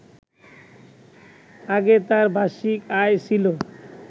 আগে তার বার্ষিক আয় ছিল